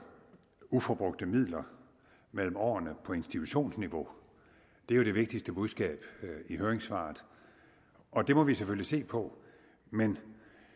uforbrugte midler mellem årene på institutionsniveau det er jo det vigtigste budskab i høringssvaret og det må vi selvfølgelig se på men